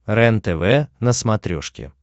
рентв на смотрешке